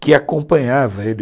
que acompanhava ele.